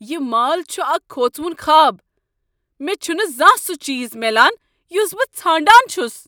یہ مال چھ اکھ كھوژوُن خواب۔ مےٚ چُھنہٕ زانٛہہ سُہ چیز میلان یُس بہٕ ژھانڑان چُھس۔